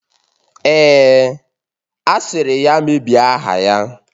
Èè, asịrị ya mebiri aha ya